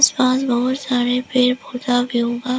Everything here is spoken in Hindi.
बहुत सारे पेड़ पौधा भी उगा--